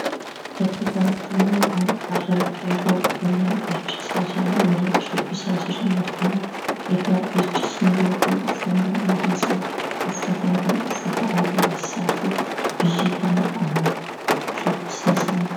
Bakka kanattimmoo qarreef qeerroo waliin dhiichisaa jiran waliin shubbisaa jiran argina. Egaa dhiichisni yookiin uffannaan aadaa isaan uffatan kun uffata aadaa eessaatii? biyya kamidhammoo shubbisni isaanii?